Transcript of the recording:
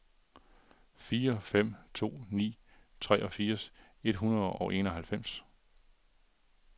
fire fem to ni treogfirs et hundrede og enoghalvfems